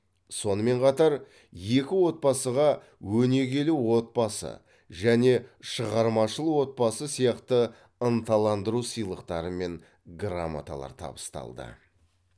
сонымен қатар екі отбасыға өнегелі отбасы және шығармашыл отбасы сияқты ынталандыру сыйлықтары мен грамоталар табысталды